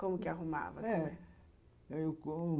Como que arrumava? é